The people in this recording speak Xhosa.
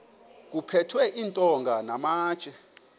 kuphethwe iintonga namatye